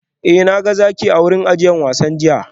Eh na ga zaki a wurin ajiyar wasan jiya